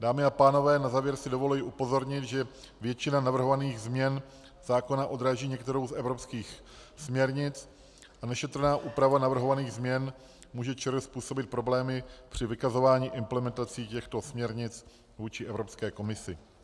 Dámy a pánové, na závěr si dovoluji upozornit, že většina navrhovaných změn zákona odráží některou z evropských směrnic a nešetrná úprava navrhovaných změn může ČR způsobit problémy při vykazování implementací těchto směrnic vůči Evropské komisi.